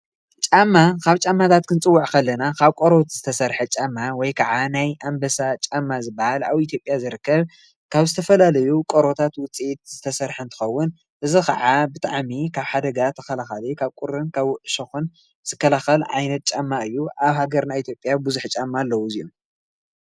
ጫማ ካብ ጫማታት ክንፅውዕ ከለና ካብ ቆርበት ዝተሰርሐ ጫማ ወይከዓ ናይ ኣምበሳ ጫማ ዝብሃል ኣብ ኢትዮጵያ ዝርከብ ካብ ዝተፈላለዩ ቆርበታት ውፅኢት ዝተሰርሐ እንትኸውን እዚኸዓ ብጣዕሚ ካብ ሓደጋ ተከላኸሊ ካብ ቁሪን ካብ እሾኽን ዝከላኸል ዓይነት ጫማ እዩ። ኣብ ሃገርና ኢትዮጵያ ብዙሕ ጫማ ኣለው።